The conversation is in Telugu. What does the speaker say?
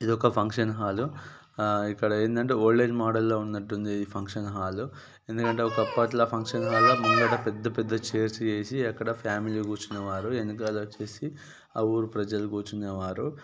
ఇది ఒక ఫంక్షన్ హాలు అ ఇక్కడ ఏందంటే ఓల్డ్ ఏజ్ మోడల్ లొ ఉన్నట్టుంది ఈ ఫంక్షన్ హాల్ ఎందుకంటే ఒక ఆప్పట్ల ఫంక్షన్ హాల్ ముంగట పెద్ద పెద్ద చైర్స్ ఏసి అక్కడ ఫ్యామిలీ కూర్చునే వారు ఆ ఊరి ప్రజలు కుర్చునేవారు